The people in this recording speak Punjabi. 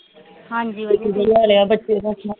ਹਾਂਜੀ ਵਧੀਆ